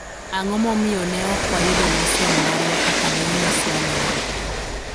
ang'o momiyo ne ok wayudo lesen marwa kaka ne onyiswa nyoro